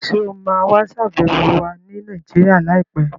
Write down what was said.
Ṣé o ma wà ṣàbẹ̀wọ̀ wa ni Nàìjíríà láìpẹ́?